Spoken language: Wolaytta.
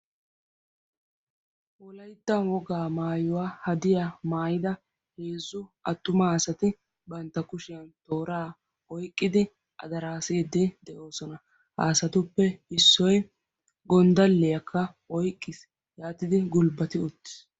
Wolayttan wogaa maayuwaa hadiya maayida heezzu attuma asati bantta kushiyan tooraa oiqqidi adaraasiiddi de'oosona. haasatuppe issoy gonddaliyaakka oyqqiis yaatidi gulbbati uttiis.